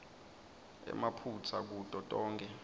emaphutsa kuto tonkhe